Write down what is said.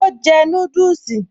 Ó jẹ núdùsì